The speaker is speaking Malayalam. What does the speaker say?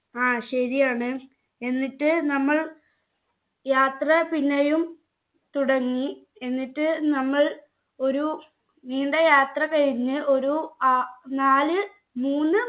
ആ ശരിയാണ് എന്നിട്ട് നമ്മൾ യാത്ര പിന്നെയും തുടങ്ങി എന്നിട്ട് നമ്മൾ ഒരു നീണ്ട യാത്ര കഴിഞ്ഞ് ഒരു ഏർ നാല് മൂന്ന്